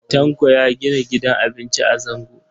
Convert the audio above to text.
Tanko ya gina gidan abinci a Zango.